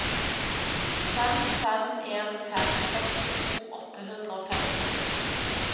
fem fem en fem sekstito åtte hundre og femti